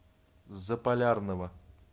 заполярного